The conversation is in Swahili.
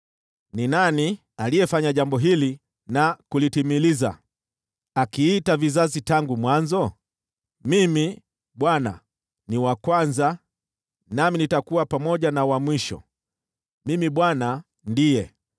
Ni nani aliyefanya jambo hili na kulitimiliza, akiita vizazi tangu mwanzo? Mimi, Bwana , ni wa kwanza nami nitakuwa pamoja na wa mwisho: mimi Bwana ndiye.”